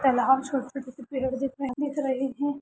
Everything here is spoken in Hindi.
तालाब छोटे छोटे पेड़ दिख रहे दिख रहे हैं।